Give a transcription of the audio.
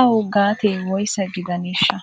awu gatee woysa gidaneeshsha ?